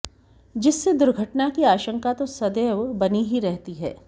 जिससे दुर्घटना की आशंका तो सदैव बनी ही रहती है